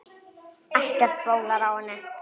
Ekkert bólar á henni.